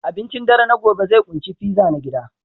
Abincin dare na gobe zai ƙunshi pizza na gida